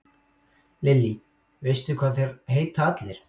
Lillý: Veistu hvað þeir heita allir?